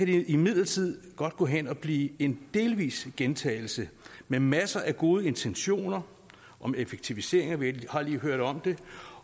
det imidlertid godt gå hen og blive en delvis gentagelse med masser af gode intentioner om effektivisering vi har lige hørt om det